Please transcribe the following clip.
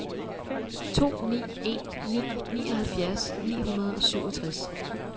to ni en ni nioghalvfjerds ni hundrede og syvogtres